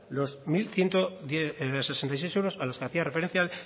los mil ciento sesenta y seis euros a los que hacía referencia